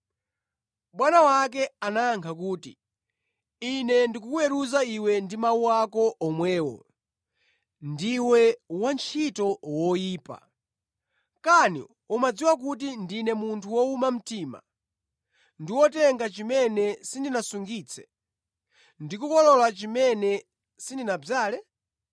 “Bwana wake anayankha kuti, ‘Ine ndikukuweruza iwe ndi mawu ako omwewo. Ndiwe wantchito woyipa. Kani umadziwa kuti ndine munthu wowuma mtima ndi wotenga chimene sindinasungitse, ndi kukolola chimene sindinadzale?